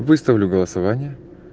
выставлю голосование